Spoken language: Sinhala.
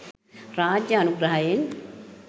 රාජ්‍ය අනුග්‍රහයෙන්.